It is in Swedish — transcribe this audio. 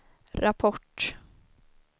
rapport